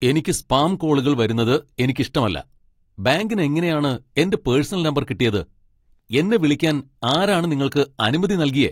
എനിക്ക് സ്പാം കോളുകൾ വരുന്നത് എനിക്ക് ഇഷ്ടമല്ല . ബാങ്കിന് എങ്ങനെയാണ് എന്റെ പേഴ്സണൽ നമ്പർ കിട്ടിയത്, എന്നെ വിളിക്കാൻ ആരാണ് നിങ്ങൾക്ക് അനുമതി നൽകിയേ ?